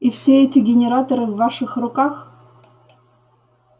и все эти генераторы в ваших руках